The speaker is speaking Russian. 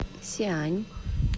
сиань